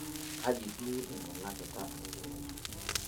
kaji duo eiminakita inkineji?